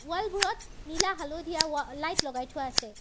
Wall বোৰত নীলা হালধীয়া ৱা লাইট লগাই থোৱা আছে।